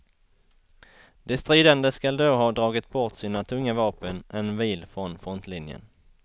De stridande skall då ha dragit bort sina tunga vapen en mil från frontlinjen.